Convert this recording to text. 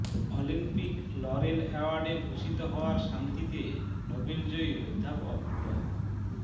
Olympic laurel অ্যাওয়ার্ডে ভূষিত হওয়ায় শান্তিতে নোবেল জয়ী অধ্যাপক ড